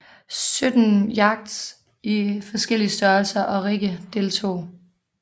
Sytten yachts i forskellige størrelser og rigge deltog